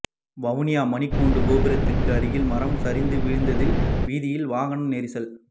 வவுனியா மணிக்கூட்டு கோபுரத்திற்கு அருகில் மரம் சரிந்து விழுந்ததில்வீதியில் வாகன நெரிசல்